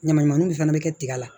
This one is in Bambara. Ɲamanɲamanw de fana bɛ kɛ tiga la